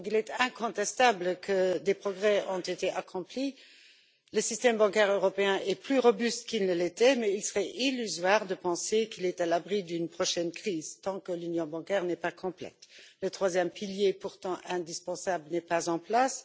Il est incontestable que des progrès ont été accomplis le système bancaire européen est plus robuste qu'il ne l'était, mais il serait illusoire de penser qu'il est à l'abri d'une prochaine crise tant que l'union bancaire n'est pas complète. Le troisième pilier, pourtant indispensable, n'est pas en place.